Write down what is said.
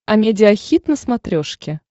амедиа хит на смотрешке